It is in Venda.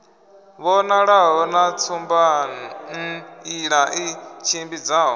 vhonalaho na tsumbanḓila i tshimbidzaho